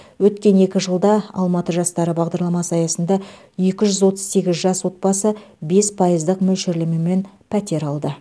өткен екі жылда алматы жастары бағдарламасы аясында екі жүз отыз сегіз жас отбасы бес пайыздық мөлшерлемемен пәтер алды